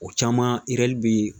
O caman bi